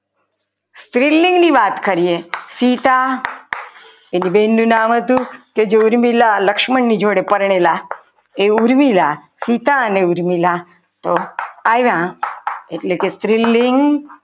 સ્ત્રીલિંગની વાત કરીએ સીતા એક બેન નું નામ હતું જે ઉરમિલા લક્ષ્મણ ની જોડે પરણેલા હતા એ ઊર્મિલા સીતા અને ઉર્મિલા તો આવ્યા એટલે કે સ્ત્રીલિંગ